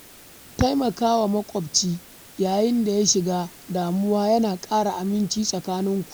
Taimakawa maƙwabci yayin da ya shiga damuwa yana ƙara aminci tsakaninku.